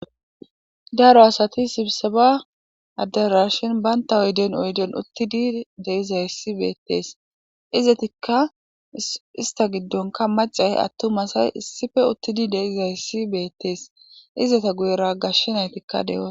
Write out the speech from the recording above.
daro asati sibise ba addera shin baynta oyden oyden uttidi deizayssi beettees izetikka ista giddonka macay attumasay issife uttidi deizayssi beettees izeta guyera gashshenaytikka deoa